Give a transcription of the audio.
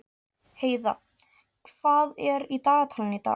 Heiða, hvað er í dagatalinu í dag?